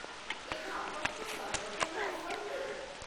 ଏହା ଆପଣଙ୍କ ସର୍ବୋତ୍ତମ ଅଫର୍ କି?